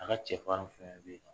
A ka cɛ farin fɛ be yen